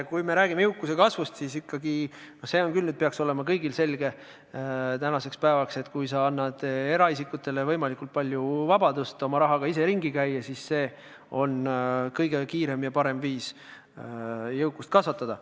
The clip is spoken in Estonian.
Kui me räägime jõukuse kasvust, siis see peaks küll kõigile tänaseks päevaks selge olema, et kui sa annad eraisikutele võimalikult palju vabadust oma rahaga ise ringi käia, siis see on kõige kiirem ja parem viis jõukust kasvatada.